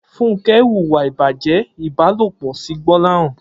Funke wúwà ibàjẹ̀ ibàlópọ̀ si Gbolahan